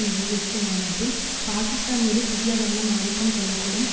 நிறைவு உச்சிமாநாட்டில் பாக்கிஸ்தான் மீது புதிய கவனம் ஆதிக்கம் கொள்ள கூடும்